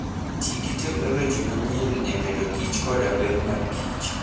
Ti gi teknoloji ma nyien e medo kich koda ber mar kich.